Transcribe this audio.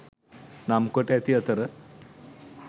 නම් කොට ඇති අතර